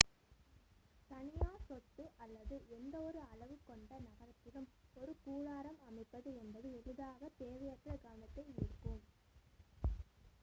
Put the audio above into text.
தனியார் சொத்து அல்லது எந்த ஒரு அளவு கொண்ட நகரத்திலும் ஒரு கூடாரம் அமைப்பது என்பது எளிதாக தேவையற்ற கவனத்தை ஈர்க்கும்